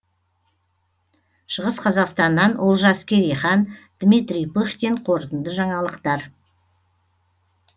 шығыс қазақстаннан олжас керейхан дмитрий пыхтин қорытынды жаңалықтар